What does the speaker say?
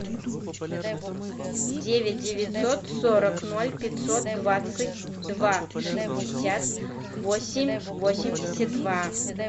девять девятьсот сорок ноль пятьсот двадцать два шестьдесят восемь восемьдесят два